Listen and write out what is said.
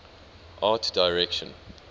art direction